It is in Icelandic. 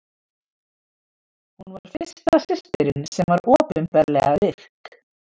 hún var fyrsta systirin sem var opinberlega virk